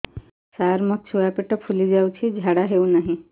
ସାର ମୋ ଛୁଆ ପେଟ ଫୁଲି ଯାଉଛି ଝାଡ଼ା ହେଉନାହିଁ